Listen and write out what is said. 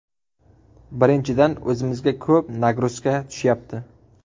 Birinchidan, o‘zimizga ko‘p ‘nagruzka’ tushyapti.